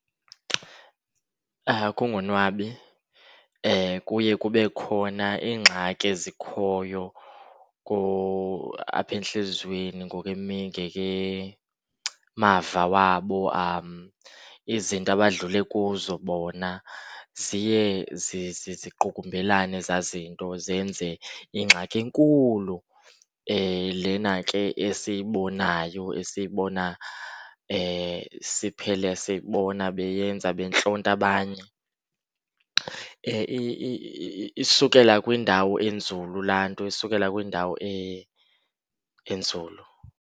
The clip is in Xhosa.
Kungonwabi, kuye kube khona iingxaki ezikhoyo apha entliziyweni ngekemava wabo. Izinto abadlule kuzo bona ziye ziqukumbelane ezaa zinto zenze ingxaki enkulu, lena ke esiyibonayo esiyibona siphele sibona beyenza bentlonta abanye. Isukela kwiindawo enzulu laa nto, isukela kwiindawo enzulu.